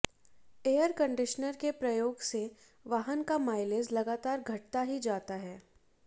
air conditioner के प्रयोग से वाहन का माइलेज लगातार घटता ही जाता है